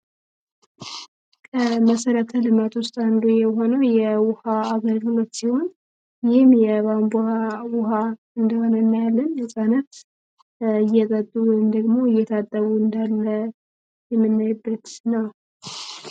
ከመሰረተ ልማት ውስ አንዱ የሆነው የውሃ አገልግሎት ሲሆን ይህም የቧብንቧ ውሃ እንደሆነ እናያለን። የፃነፍ እየጠጡን ደግሞ እየታጠቡ እዳለ የመናይበት ነው።